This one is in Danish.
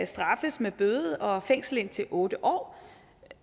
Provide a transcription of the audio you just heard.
straffes med bøde og fængsel i indtil otte år